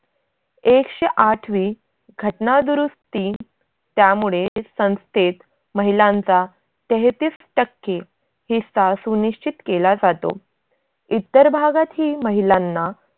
एकशेआठवी घटनादुरुस्ती, त्यामुळे संस्थेत महिलांचा तेहतीस टक्के हिस्सा सुनिश्चित केला जातो. इतर भागातही महिलांना